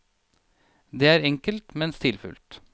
Det er enkelt, men stilfullt.